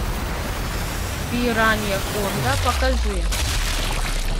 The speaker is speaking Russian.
пираньяконда покажи